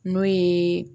N'o ye